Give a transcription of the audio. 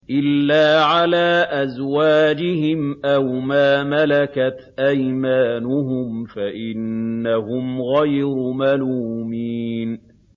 إِلَّا عَلَىٰ أَزْوَاجِهِمْ أَوْ مَا مَلَكَتْ أَيْمَانُهُمْ فَإِنَّهُمْ غَيْرُ مَلُومِينَ